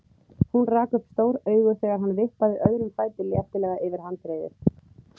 Hún rak upp stór augu þegar hann vippaði öðrum fæti léttilega yfir handriðið.